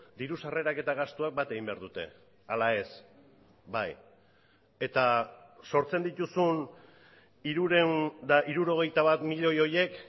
diru sarrerak eta gastuak bat egin behar dute ala ez bai eta sortzen dituzun hirurehun eta hirurogeita bat milioi horiek